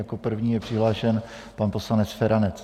Jako první je přihlášen pan poslanec Feranec.